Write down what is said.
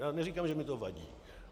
Já neříkám, že mi to vadí.